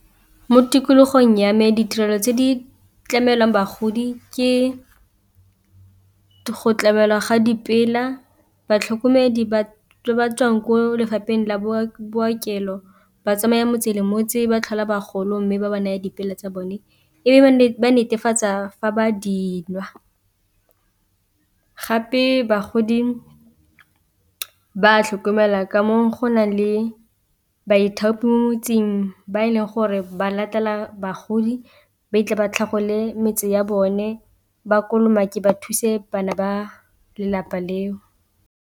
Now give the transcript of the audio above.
Mo tikologong ya me ditirelo tse di tlamelwang bagodi ke go tlamelwa ga , batlhokomedi ba batswang ko lefapheng la bolokelo ba tsamaye motse le motse ba tlhola bagolo, mme ba ba naya tsa bone e be ba netefatsa fa ba dinwa, gape bagodi ba tlhokomelwa ka mo go nang le ba ithaopi mo motseng ba e leng gore ba latela bagodi ba fitlhe ba tlhagole metse ya bone, ba kolomake ba thuse bana ba lelapa leo.